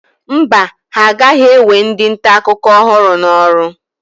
Mba, ha agaghị ewe ndị nta akụkọ ọhụrụ n'ọrụ.